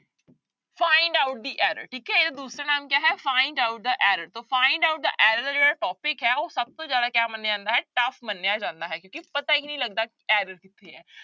Find out the error ਠੀਕ ਹੈ ਇਹਦਾ ਦੂਸਰਾ ਨਾਮ ਕਿਆ ਹੈ find out the error ਤਾਂ find out the error ਦਾ ਜਿਹੜਾ topic ਹੈ ਉਹ ਸਭ ਤੋਂ ਜ਼ਿਆਦਾ ਕਿਆ ਮੰਨਿਆ ਜਾਂਦਾ ਹੈ tough ਮੰਨਿਆ ਜਾਂਦਾ ਹੈ ਕਿਉਂਕਿ ਪਤਾ ਹੀ ਨੀ ਲੱਗਦਾ error ਕਿੱਥੇ ਹੈ।